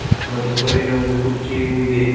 ಮತ್ತು ಕಲ್ಲಿನ ಒಂದು ಕುರ್ಚಿಯು ಇದೆ.